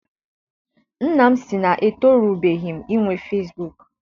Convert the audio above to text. Nna m si na-etorubeghi m inwe fesibuuku.